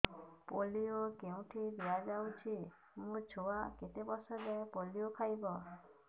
polio କେଉଁଠି ଦିଆଯାଉଛି ମୋ ଛୁଆ କେତେ ବର୍ଷ ଯାଏଁ ପୋଲିଓ ଖାଇବ